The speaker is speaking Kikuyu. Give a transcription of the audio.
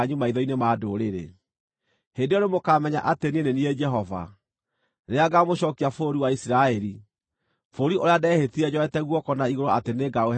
Hĩndĩ ĩyo nĩmũkamenya atĩ niĩ nĩ niĩ Jehova, rĩrĩa ngaamũcookia bũrũri wa Isiraeli, bũrũri ũrĩa ndehĩtire njoete guoko na igũrũ atĩ nĩngaũhe maithe manyu.